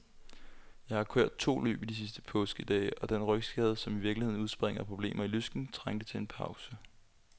Jeg har kørt to løb i de første påskedage, og den rygskade, som i virkeligheden udspringer af problemer i lysken, trængte til en pause.